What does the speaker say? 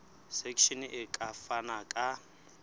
section e ka fana ka